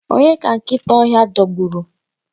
Onye ka nkịta ọhịa dọgburu?